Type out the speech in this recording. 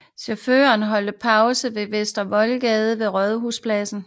Chaufførerne holdt pause på Vester Voldgade ved Rådhuspladsen